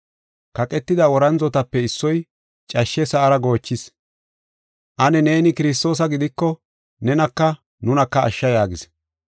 Kaqetida worandzotape issoy cashshe sa7ara goochishe, “Ane neeni Kiristoosa gidiko, nenaka nunaka ashsha” yaagis.